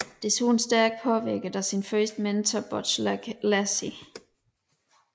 Desuden stærkt påvirket af sin første mentor Butch Lacy